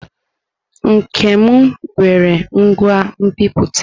Nkem nwere ngwa nbipute.